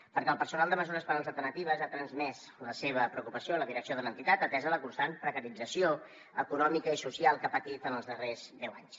perquè el personal de mesures penals alternatives ha transmès la seva preocupació a la direcció de l’entitat atesa la constant precarització econòmica i social que ha patit en els darrers deu anys